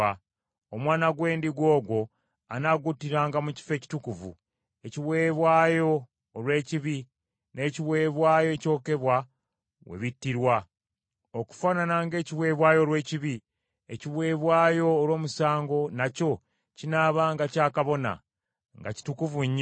Omwana gw’endiga ogwo anaaguttiranga mu kifo ekitukuvu, ekiweebwayo olw’ekibi n’ekiweebwayo ekyokebwa we bittirwa. Okufaanana ng’ekiweebwayo olw’ekibi, ekiweebwayo olw’omusango nakyo kinaabanga kya kabona; nga kitukuvu nnyo.